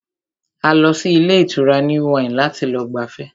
A lọ sí ilé ìtura New Wine láti lọ gbafẹ́